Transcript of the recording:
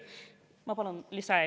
Ma palun lisaaega.